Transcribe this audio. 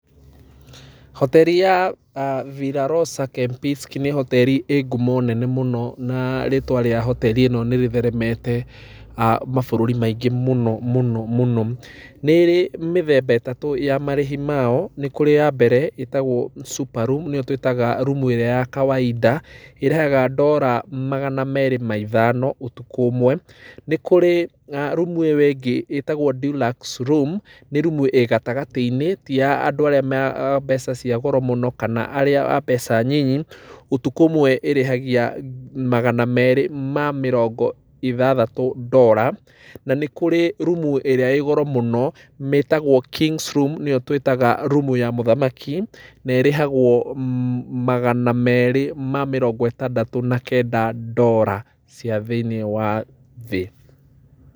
Hoteri ya Villa Rosa Kempinski nĩ hoteri ĩĩ ngumo nene mũno na rĩtwa rĩa hoteri ĩno nĩ rĩtheremete mabũrũri maingĩ mũno mũno mũno. Nĩ ĩrĩ mĩthemba ĩtatũ ya marĩhi mao, nĩ kũrĩ ya mbere ĩtagwo super room nĩyo twĩtaga rumu ĩrĩa ya kawaida ĩrĩhaga ndora magana merĩ na ithano ũtukũ ũmwe. Nĩ kũrĩ rumu ĩyo ĩngĩ ĩtagwo deluxe room nĩ rumu ĩĩ gatagatĩ-inĩ, ti ya andũ arĩa a mbeca cia goro mũno kana arĩa a mbeca nyinyi, ũtukũ ũmwe ĩrĩhagia magana merĩ ma mĩrongo ithathatũ ndora. Na nĩ kũrĩ rumu ĩrĩa ĩĩ goro mũno ĩtagwo kings room na nĩyo twĩtaga rumu ya mũthamaki, na ĩrĩhagwo magana merĩ ma mĩrongo ĩtandatũ na kenda ndora cia thĩiniĩ wa thĩ.